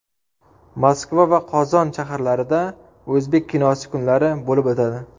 Moskva va Qozon shaharlarida o‘zbek kinosi kunlari bo‘lib o‘tadi.